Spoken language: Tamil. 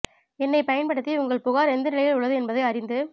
எண்னைப் பயன்படுத்தி உங்கள் புகார் எந்த நிலையில் உள்ளது என்பதை அறிந்து